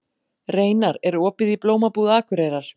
Reynar, er opið í Blómabúð Akureyrar?